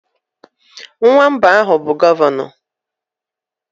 Nwa mbụ anyị bụ gọvanọ.